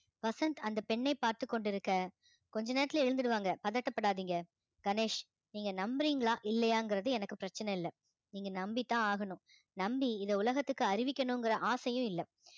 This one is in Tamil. வசந்த் அந்த பெண்ணை பார்த்து கொண்டிருக்க கொஞ்ச நேரத்துல எழுந்துருவாங்க பதட்டப்படாதீங்க கணேஷ் நீங்க நம்புறீங்களா இல்லையாங்கிறது எனக்கு பிரச்சனை இல்ல நீங்க நம்பித்தான் ஆகணும் நம்பி இத உலகத்துக்கு அறிவிக்கணுங்கிற ஆசையும் இல்ல